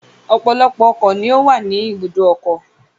Ọ̀pọ̀lọpọ̀ ọkọ̀ ni ó wà ní ibùdókọ̀.